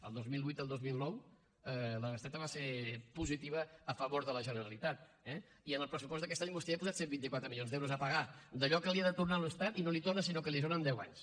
el dos mil vuit i el dos mil nou la bestreta va ser positiva a favor de la generalitat eh i en el pressupost d’aquest any vostè hi ha posat cent i vint quatre milions d’euros a pagar d’allò que li ha de tornar a l’estat i no li torna sinó que li ajorna en deu anys